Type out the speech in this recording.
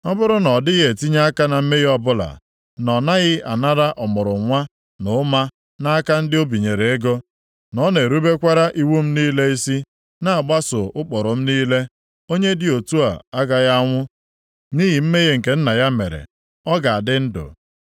ọ bụrụ na ọ dịghị etinye aka na mmehie ọbụla, na ọ naghị anara ọmụrụnwa na ụma nʼaka ndị o binyere ego, na ọ na-erubekwara iwu m niile isi, na-agbaso ụkpụrụ m niile. Onye dị otu a agaghị anwụ nʼihi mmehie nke nna ya mere. Ọ ga-adị ndụ.